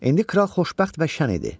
İndi kral xoşbəxt və şən idi.